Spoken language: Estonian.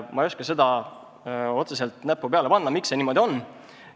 Ma ei oska seal otseselt näppu kuhugi peale panna, miks see niimoodi on.